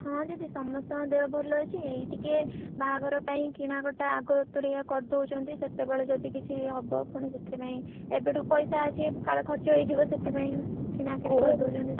ହଁ ଦିଦି ସମସ୍ତଙ୍କ ଦେହ ଭଲ ଅଛି ଏଇ ଟିକେ ବାହାଘର ପାଇଁ କିଣା କଟା ଆଗୁତୁରିଆ କରିଦଉଛନ୍ତି ସେତେବେଳେ ଯଦି କିଛି ହବ ଫୁଣି ସେଥିପାଇଁ ଏବେଠୁ ପଇସା ଅଛି କାଳେ ଖର୍ଚ ହେଇଯିବ ସେଇଥିପାଇଁ କିଣାକିଣି କରିଦଉଛନ୍ତି ସବୁ।